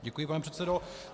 Děkuji, pane předsedo.